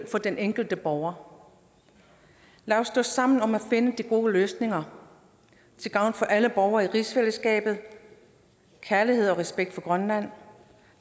for den enkelte borger lad os stå sammen om at finde de gode løsninger til gavn for alle borgere i rigsfællesskabet kærlighed og respekt for grønland